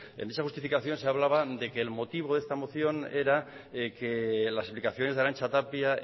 en dicha justificación se hablaba de que el motivo de esta moción era que las explicaciones de arantza tapia